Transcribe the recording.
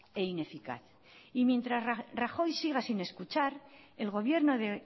e ineficaz y mientras rajoy siga sin escuchar el gobierno de